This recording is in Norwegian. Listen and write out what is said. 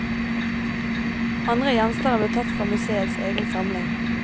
Andre gjenstander ble tatt fra museets egen samling.